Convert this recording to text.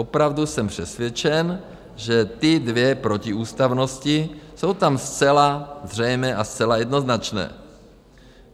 Opravdu jsem přesvědčen, že ty dvě protiústavnosti jsou tam zcela zřejmé a zcela jednoznačné.